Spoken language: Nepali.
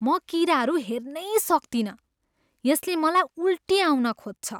म किराहरू हेर्नै सक्तिनँ, यसले मलाई उल्टी आउन खोज्छ।